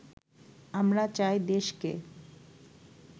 আমরা চাই দেশকে